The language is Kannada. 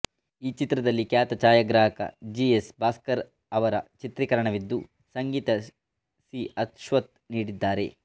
ಈ ಚಿತ್ರದಲ್ಲಿ ಖ್ಯಾತ ಛಾಯಾಗ್ರಾಹಕ ಜಿ ಎಸ್ ಭಾಸ್ಕರ್ ಅವರ ಚಿತ್ರೀಕರಣವಿದ್ದು ಸಂಗೀತ ಸಿ ಅಶ್ವಥ್ ನೀಡಿದ್ದಾರೆ